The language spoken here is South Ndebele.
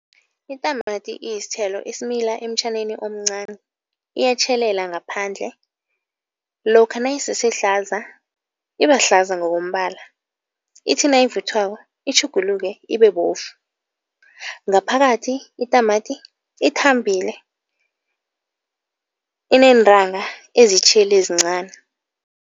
Itamati iyisithelo esimila emtjhaneni omncani, iyatjhelela ngaphandle. Lokha nayisesehlaza, ibahlaza ngokombala ithi nayivuthwako itjhuguluke ibe bovu. Ngaphakathi itamati ithambile, ineentanga ezitjheli ezincani.